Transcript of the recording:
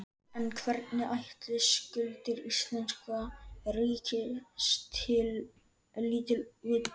En hvernig ætli skuldir íslenska ríkisins líti út?